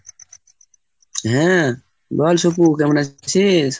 হ্যাঁ বল সুকু কেমন আছিস?